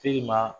Te ma